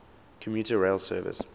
commuter rail service